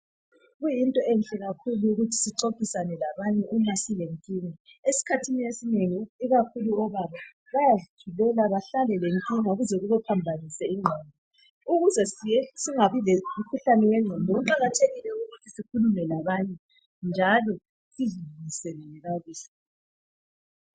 Kuyinto enhle kakhulu ukuthi sixoxisana labanye uma silenkinga. Eskhathini esinengi (ikakhulu obaba) bayazithulela bahlale lenkinga kuze kubaphambanise ingqondo. Ukuze singabi lomkhuhlane wenqondo kuqakathekile ukuthi sikhulumisane labanye njalo sizi ...